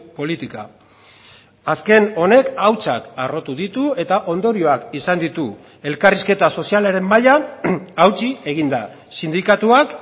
politika azken honek hautsak harrotu ditu eta ondorioak izan ditu elkarrizketa sozialaren mailan hautsi egin da sindikatuak